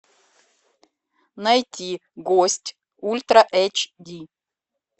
найти гость ультра эйч ди